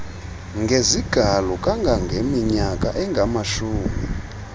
ngezigalo kangangeminyaka engamashumi